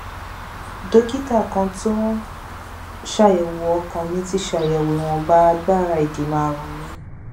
dókítà kan tó ń ṣàyẹwò ọkàn mi ti ṣàyẹwò ìwọnba agbára ìdènà àrùn mi